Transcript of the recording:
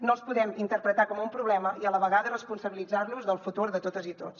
no els podem interpretar com un problema i a la vegada responsabilitzar los del futur de totes i tots